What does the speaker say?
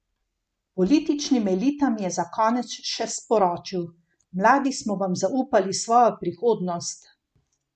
Političnim elitam je za konec še sporočil: ''Mladi smo vam zaupali svojo prihodnost.